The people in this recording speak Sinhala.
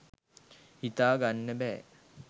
හිතා ගන්න බැ